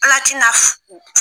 Ala t'i na fo.